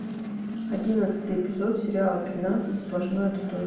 одиннадцатый эпизод сериала пятнадцать сплошной отстой